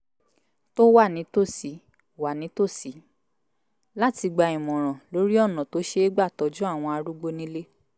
tó wà nítòsí wà nítòsí láti gba ìmọ̀ràn lórí ọ̀nà tó ṣeé gbà tọ́jú àwọn arúgbó nílé